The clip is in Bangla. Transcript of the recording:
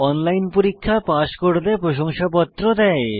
অনলাইন পরীক্ষা পাস করলে প্রশংসাপত্র দেয়